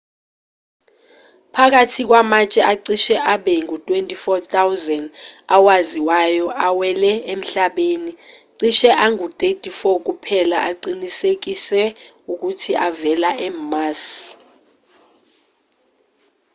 phakathi kwamatshe acishe abe ngu-24,000 awaziwayo awele emhlabeni cishe angu-34 kuphela aqinisekiswe ukuthi avela e-mars